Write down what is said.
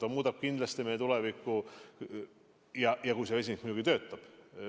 See muudab kindlasti meie tulevikku, kui vesinikutehnoloogia muidugi töötab.